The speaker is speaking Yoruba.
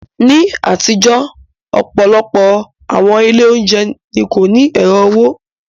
Ní àtijọ́, ọ̀pọ̀lọpọ̀ àwọn ilé oúnjẹ ni kò ní ẹ̀rọ owó.